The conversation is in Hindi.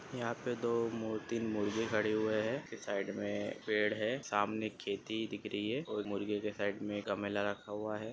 यहां पे दो अ तीन मुर्गी खड़े हुए है साईड मे पेड़ है सामने खेती दिख रही है और मुर्गे के साईड मे एक गमला रखा हुआ है।